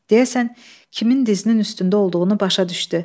Deyəsən, kimin dizinin üstündə olduğunu başa düşdü.